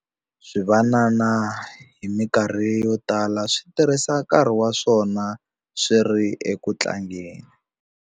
Swivanana hi mikarhi yo tala swi tirhisa nkarhi wa swona swi ri eku tlangeni.